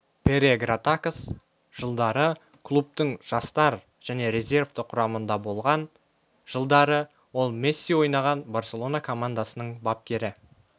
пере гратакос жылдары клубтың жастар және резервті құрамында болған жылдары ол месси ойнаған барселона командасының бапкері